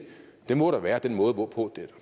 det må da være den måde hvorpå den er